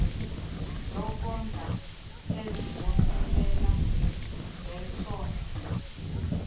zokondla ezibonelela ngesondlo